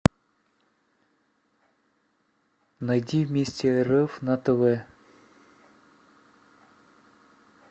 найди вместе рф на тв